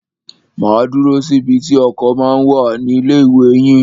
Máa dúró síbi tí ọkọ̀ ma ń wà ní ilé ìwé yín.